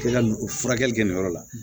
Kila ka o furakɛli kɛ nin yɔrɔ la